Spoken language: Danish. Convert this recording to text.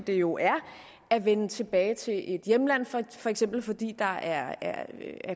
det jo er at vende tilbage til et hjemland for eksempel fordi der er